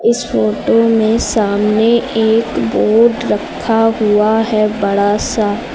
इस फोटो में सामने एक बोर्ड रखा हुआ है बड़ा सा।